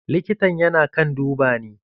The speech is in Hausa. Likitan yana kan duba ni.